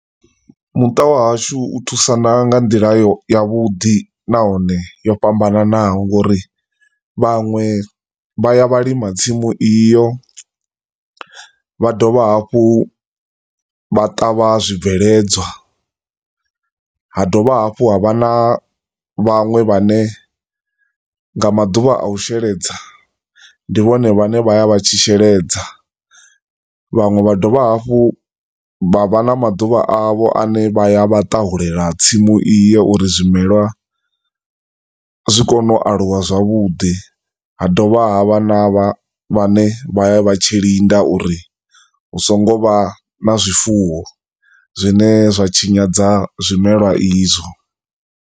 Muṱa wa hashu u thusana nga nḓila ya vhuḓi, na hone yo fhambananaho ngauri vhanwe vha ya lima tsimu iyo, vha dovha hafhu vha ṱavha zwibveledzwa, ha dovha hafhu ha vha na vhanwe vhane nga maḓuvha a u sheledza, ndi vhone vha ne vha ya vha tshi sheledza, vhanwe vha dovha hafhu vha vha na maduvha avho ane vha ya vha ṱahulela tsimu iyo uri zwimelwa zwi kone u aluwa zwavhuḓi, ha dovha ha vha na vha vhane vha ya vha tshilinda uri husongovha na zwifuwo zwine zwa tshinyadza zwimelwa izwo.